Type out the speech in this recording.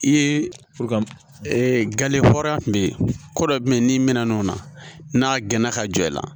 I ye gale hɔrɔnya kun be yen ko dɔ bɛ yen n'i mɛnna n'o na n'a gɛnna ka jɔ i la